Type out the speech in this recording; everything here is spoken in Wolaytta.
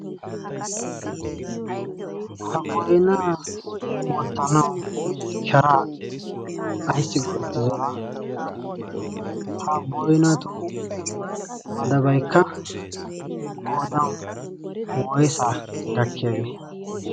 ha boinaa oottanau sharaa aissi go7ettidona? ha boinato madabaikka qodan woisa gakkiyaagee?